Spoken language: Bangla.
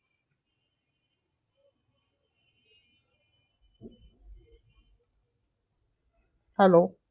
Hello